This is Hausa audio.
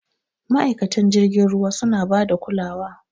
Ma'aikatan jirgin ruwa suna bada kulawa.